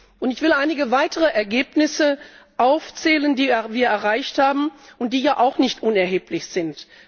Und ich will einige weitere Ergebnisse aufzählen, die wir erreicht haben, und die ja auch nicht unerheblich sind.